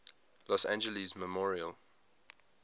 los angeles memorial